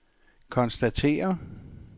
konstatere